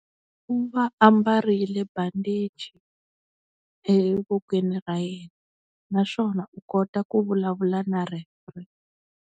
U va ambarile bandichi evokweni ra yena naswona u kota ku vulavula na referee.